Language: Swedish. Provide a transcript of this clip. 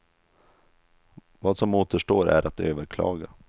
Vad som återstår är att överklaga.